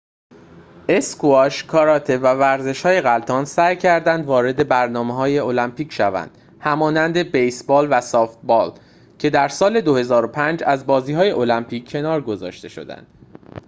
اسکواش کاراته و ورزش‌های غلتان سعی کردند وارد برنامه المپیک شوند همانند بیس بال و سافت بالکه در سال ۲۰۰۵ از بازی های المپیک کنار گذاشته شدند